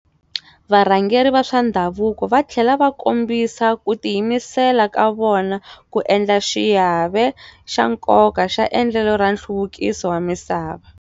Varhangeri va swa ndhavuko va tlhele va kombisa ku tiyimisela ka vona ku endla xiave xa nkoka xa endlelo ra nhluvukiso wa misava.